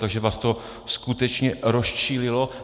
Takže vás to skutečně rozčílilo.